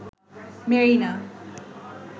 Marina